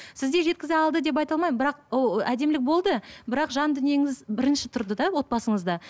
сіз де жеткізе алды деп айта алмаймын бірақ әдемілік болды бірақ жан дүниеңіз бірінші тұрды да отбасыңызда